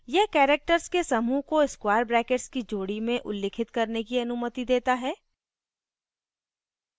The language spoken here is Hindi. यह characters के समूह को square brackets की जोड़ी में उल्लिखित करने की अनुमति देता है